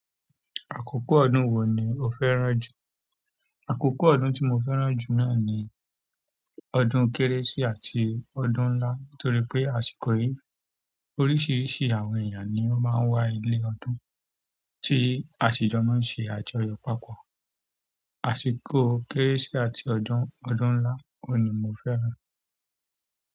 Àkókò ọdún wo ni o fẹ́ràn jù? Àkókò ọdún tí mo fẹ́ràn jù náà ni ọdún kérésì àti ọdún ńlá. Nítorí pé àsìkò yìí oríṣiríṣi àwọn èèyàn ni ó máa ń wá ilé ọdún tí àṣìjọ mọ n ṣe àjọyọ̀ papọ̀. Àṣìkò kérésì àti ọdún, ọdún ńlá òun ni mo fẹ́ràn.